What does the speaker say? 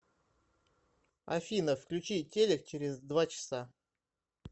афина включи телек через два часа